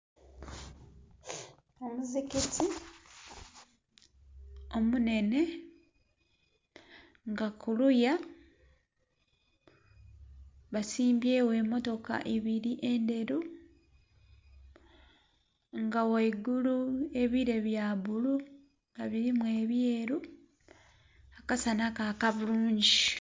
Omuzikiti omunhenhe nga kuluya basimbyegho emmotoka ibiri endheru. Nga ghaigulu ebire bya bbulu nga birimu ebyeru, akasana kaaka bulungi.